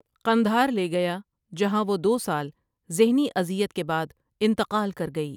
قندھار لے گیا جہاں وہ دو سال ذہنی اذیت کے بعد انتقال کر گئی ۔